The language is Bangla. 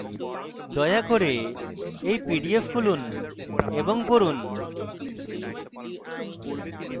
দয়া করে এই pdf খুলুন এবং পড়ুন